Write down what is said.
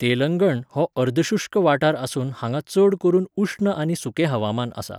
तेलंगण हो अर्दशुष्क वाठार आसून हांगा चड करून उश्ण आनी सुकें हवामान आसा.